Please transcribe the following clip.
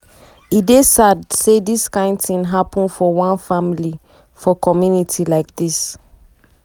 "e dey sad say dis kain tin happun for one family for community like dis.